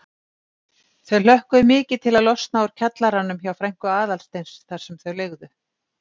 Þau hlökkuðu mikið til að losna úr kjallaranum hjá frænku Aðalsteins þar sem þau leigðu.